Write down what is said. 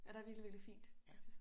Ja der virkelig virkelig fint faktisk